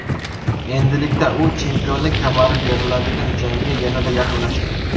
Endilikda u chempionlik kamari beriladigan jangga yanada yaqinlashdi.